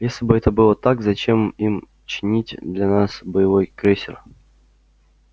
если бы это было так зачем им чинить для нас боевой крейсер